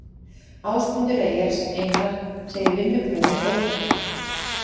Ásmundur Einar segir vinnubrögðin ótrúleg